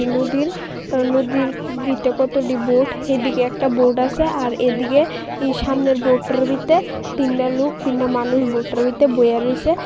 নদীর নদীর ভিতে কতটি বোড হেদিকে একটা বোড আসে আর এদিকে ই সামনের বোডটার ভিতে তিনডা লুক তিনডা মানুষ বোডটার ভিতে বইহা রইসে।